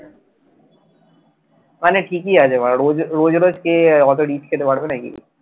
মানে ঠিকই আছে রো রোজ রোজ কে অতো rich খেতে পারবে নাকি।